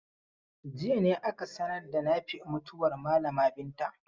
Jiya ne aka sanar da Nafi'u mutuwar malama Binta.